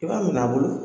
I b'a minɛ a bolo